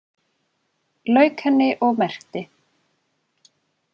Lauk henni og merkti.